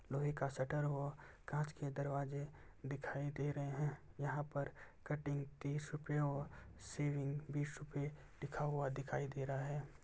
लोहे का शटर व काँच के दरवाजे दिखाई दे रहें हैं। यहाँ पर कटिंग तीस रुपए और शेविंग बीस रुपए लिखा हुआ दिखाई दे रहा है।